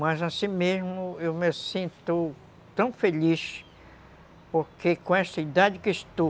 Mas assim mesmo eu me sinto tão feliz, porque com essa idade que estou,